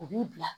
U b'i bila